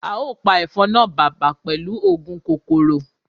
Ao pa efon na baba pelu oogun kokoro